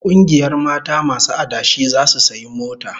Kungiyar mata masu adashi zasu sayi mota